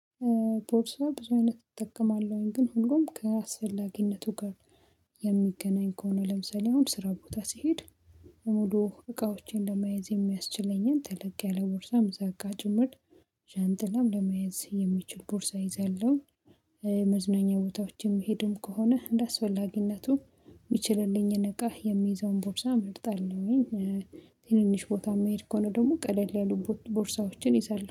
ቦርሳ ብዙ አይነት እጠቀማለሁኝ ግን ሁሉም ከአስፈላጊነቱ ጋር የሚገናኝ ከሆነ ለምሳሌ አሁን ስራ ቦታ ስሄድ የሙሉ እቃዎቼን ለማየዝ የሚያስችለኝን ተለቅ ያለ ቦርሳ ምዘጋ ጭምር ዣንጥላም ለመያዝ የሚችል ቦርሳ ይዛለሁ። መዝነኛ ቦታዎችም የምሄድም ከሆነ እንደአስፈላጊነቱ የሚችልልኝን እቃ የሚይዘውን ቦርሳ መርጣልሁ። ትንንሽ ቦታ የምሄድ ከሆነ ደግሞ ቀለል ያሉ ቦርሳዎችን ይዛለው